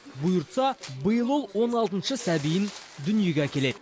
бұйыртса биыл ол он алтыншы сәбиін дүниеге әкеледі